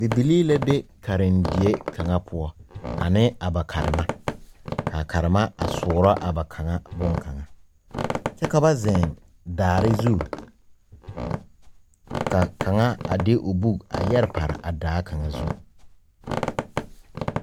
Bibilii la be karendie kanga pou ane a ba karema ka a ba karema a suoro a ba kanga bunkanga kye ka ba zeng daare zu ka kanga a de ɔ buk a yere pare a daa kanga zu.